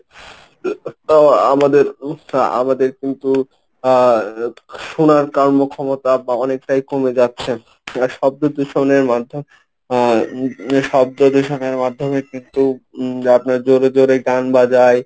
আহ আমাদের~ আমাদের কিন্তু শোনার কার্ম ক্ষমতা বা অনেকটাই কমে যাচ্ছে শব্দ দূষণের মাধ্যম আহ শব্দ দূষণের মাধ্যমে কিন্তু আপনারা জোরে জোরে গান বাজায়।